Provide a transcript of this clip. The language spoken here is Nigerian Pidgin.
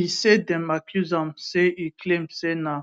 e say dem accuse am say e claim say na